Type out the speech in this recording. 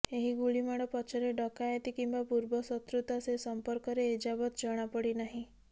ଏହି ଗୁଳିମାଡ଼ ପଛରେ ଡକାୟତି କିମ୍ବା ପୂର୍ବ ଶତ୍ରୁତା ସେ ସମ୍ପର୍କରେ ଏଯାବତ୍ ଜଣାପଡ଼ିନାହିଁ